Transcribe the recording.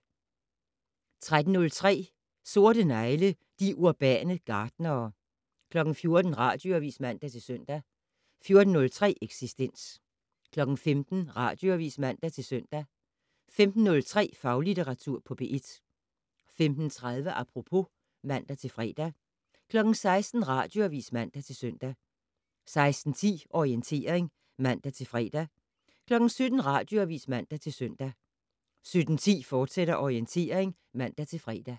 13:03: Sorte negle: De urbane gartnere 14:00: Radioavis (man-søn) 14:03: Eksistens 15:00: Radioavis (man-søn) 15:03: Faglitteratur på P1 15:30: Apropos (man-fre) 16:00: Radioavis (man-søn) 16:10: Orientering (man-fre) 17:00: Radioavis (man-søn) 17:10: Orientering, fortsat (man-fre)